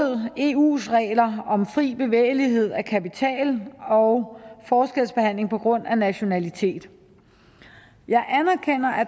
eus regler om fri bevægelighed af kapital og forskelsbehandling på grund af nationalitet jeg anerkender at